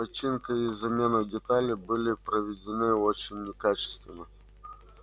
починка и замена деталей были проведены очень некачественно